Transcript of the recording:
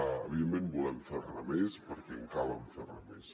evidentment volem fer ne més perquè cal fer ne més